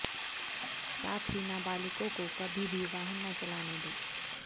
साथ ही नाबालिगों को कभी भी वाहन न चलाने दें